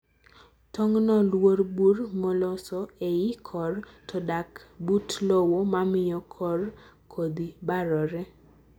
tongno luo burr moloso eiy korr to dak but lowo mamiyo kor kodhi barore.